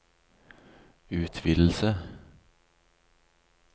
utvidelse